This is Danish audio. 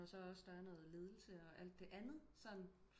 Når så også der er noget ledelse og alt det andet sådan